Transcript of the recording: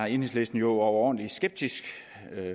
enhedslisten jo overordentlig skeptiske